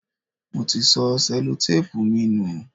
Mo ti sọ Sẹ́lótápùù mi nù.